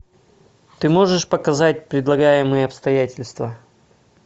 ты можешь показать предлагаемые обстоятельства